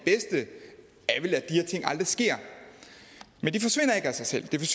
her ting aldrig sker men det forsvinder ikke af sig selv det